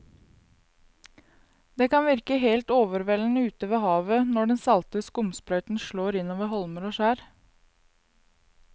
Det kan virke helt overveldende ute ved havet når den salte skumsprøyten slår innover holmer og skjær.